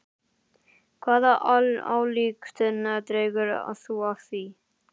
Hvaða ályktun dregur þú af því?